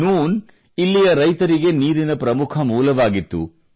ನೂನ್ ಇಲ್ಲಿಯ ರೈತರಿಗೆ ನೀರಿನ ಪ್ರಮುಖ ಮೂಲವಾಗಿತ್ತು